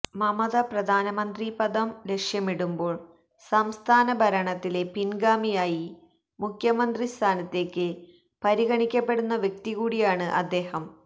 മമത പ്രധാനമന്ത്രി പദം ലക്ഷ്യമിടുമ്പോൾ സംസ്ഥാന ഭരണത്തിലെ പിൻഗാമിയായി മുഖ്യമന്ത്രി സ്ഥാനത്തേക്ക് പരിഗണിക്കപ്പടുന്ന വ്യക്തി കൂടിയാണ് അദ്ദേഹം